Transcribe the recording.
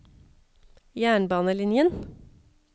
jernbanelinjen